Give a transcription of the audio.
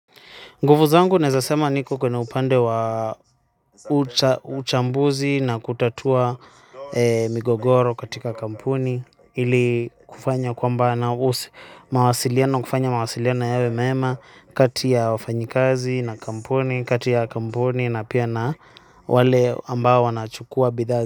Nguvu zangu nezasema niko kwenye upande wa uchambuzi na kutatua migogoro katika kampuni ili kufanya kwamba na usi mawasiliano kufanya mawasiliano yawe mema kati ya wafanyikazi na kampuni kati ya kampuni na pia na wale ambao wanachukua bidhaa.